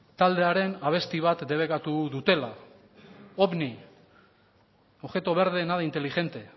taldearen abesti bat debekatu duela ovni objeto verde nada inteligente